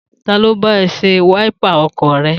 Ta ló bá ẹ ṣe wáípà ọkọ̀ rẹ?